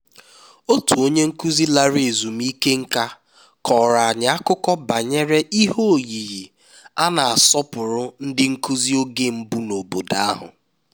otu onye nkụzi lara ezumike nká kọrọ anyị akụkọ banyere ihe oyiyi a na-asọpụrụ ndị nkụzi oge mbụ n'obodo ahụ